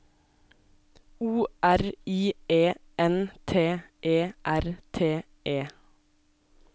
O R I E N T E R T E